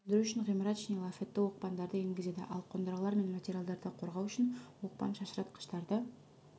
сөндіру үшін ғимарат ішіне лафетті оқпандарды енгізеді ал қондырғылар мен материалдарды қорғау үшін оқпан-шашыратқыштарды